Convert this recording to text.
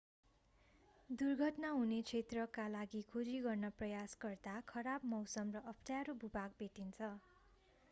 दुर्घटना हुने क्षेत्रका लागि खोजी गर्न प्रयास गर्दा खराब मौसम र अप्ठ्यारो भू-भाग भेटिन्छ